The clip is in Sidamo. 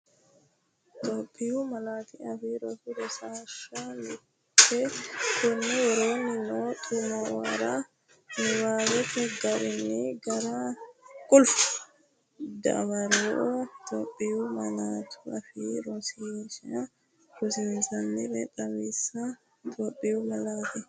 Itophiyu Malaatu Afii Roso Rosiishsha Mite Konni woroonni noo xa’muwara niwaawete garinni gari dawaro Itophiyu malaatuAfiinni rosiisaanchi’nera xawisse Itophiyu Malaatu.